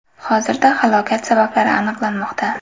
Hozirda halokat sabablari aniqlanmoqda.